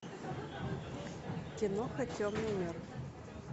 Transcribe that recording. киноха темный мир